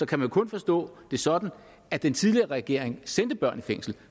kan det kun forstås sådan at den tidligere regering sendte børn i fængsel